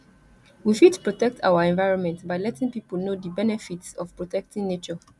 we fit protect our environment by letting pipo know di benefits of protecting nature